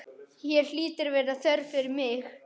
Hér hlýtur að vera þörf fyrir mig.